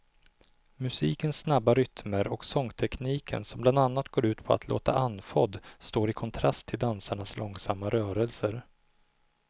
Musikens snabba rytmer och sångtekniken som bland annat går ut på att låta andfådd står i kontrast till dansarnas långsamma rörelser.